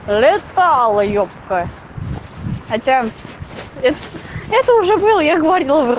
летала юбка хотя эт это уже было я говорила вр